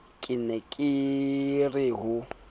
ke ne ke re ho